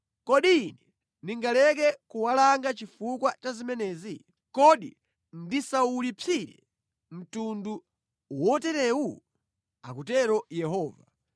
Kodi Ine ndingaleke kuwalanga chifukwa cha zimenezi? Kodi ndisawulipsire mtundu woterewu? Akutero Yehova.